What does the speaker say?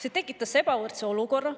See tekitas ebavõrdse olukorra.